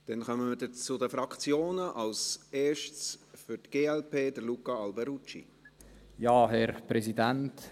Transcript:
Dann kommen wir jetzt zu den Fraktionen, zuerst für die glp: Luca Alberucci.